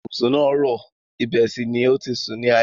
Ibùsùn náà rọ̀, ibẹ̀ sì ni o ti sùn ní alẹ́.